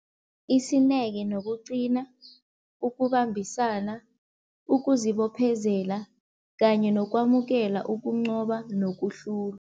Isineke nokuqina, ukubambisana, ukuzibophezela kanye nokwamukela ukuncoba nokuhlulwa.